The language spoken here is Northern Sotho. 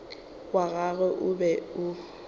wa gagwe o be o